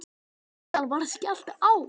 Síðan var skellt á.